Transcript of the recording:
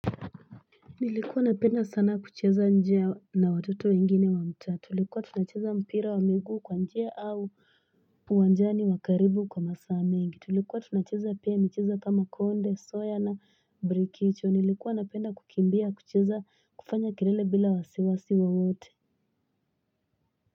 Nilikuwa napenda sana kucheza nje na watoto wengine wa mtaa, tulikuwa tunacheza mpira wa migu kwa njia au uwanjani wa karibu kwa masaa mengi, Tulikuwa tunacheza pia michezo kama konde, soya na brikichu Nilikuwa napenda kukibia kucheza kufanya kilele bila wasiwasiwa wote.